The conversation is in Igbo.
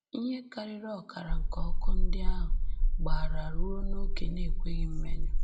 Ihe karịrị ọkara nke ọkụ ndị ahụ gbara ruo n’ókè na-ekweghị mmenyụ.